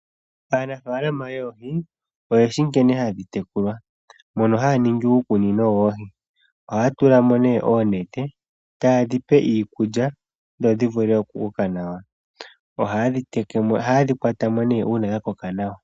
Aanafaalama yoohi oyeshi nkene hadhi tekulwa, mono haya ningi uukunino woohi. Ohaya tula mo oonete taye dhipe iikulya dho dhivule okukoka nawa. Ohaye dhi kwata mo uuna dhakoka nawa.